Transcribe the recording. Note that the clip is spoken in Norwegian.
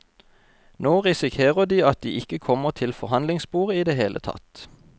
Nå risikerer de at de ikke kommer til forhandlingsbordet i det hele tatt.